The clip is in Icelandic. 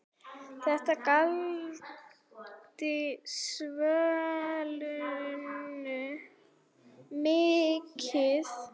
Þetta gladdi Svönu mikið.